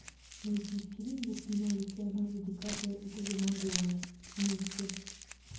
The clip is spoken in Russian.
найди фильм где снимались леонардо ди каприо и тоби магуайр вместе